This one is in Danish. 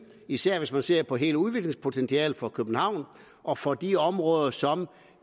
især hvis man ser på hele udviklingspotentialet for københavn og for de områder som